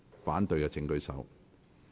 反對的請舉手。